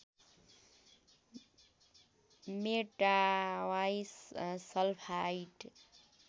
मेटावाई sulphide